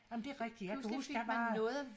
Ah men det er rigtigt jeg kan huske der var